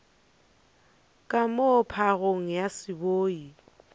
ka moo phagong ya seboi